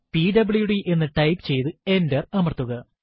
PWD എന്ന് type ചെയ്തു enter അമർത്തുക